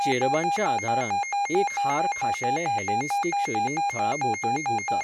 चेरबांच्या आदारान, एक हार खाशेले हेलेनिस्टीक शैलींत थळा भोंवतणी घुंवता.